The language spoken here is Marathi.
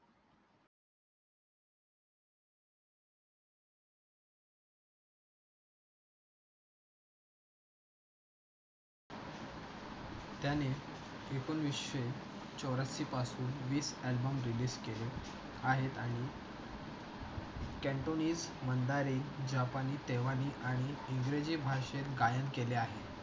त्याने एकोणविशे चौऱ्याऐंशी पासून वीस अल्बम रेलीज केले आहेत आणि केनटोलीन माध्यमने जपानी, तेमाली आणि इंग्रजी भाषेत गायन केले आहे.